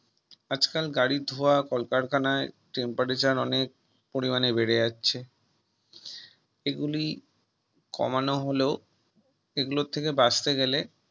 আজকাল গাড়ির ধোয়া কলকারখানায় Temperature অনেক পরিমাণে বেড়ে যাচ্ছে এগুলি কমানো হলেও এগুলো থেকে বাঁচতে গেলে